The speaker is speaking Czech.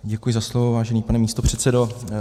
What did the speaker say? Děkuji za slovo, vážený pane místopředsedo.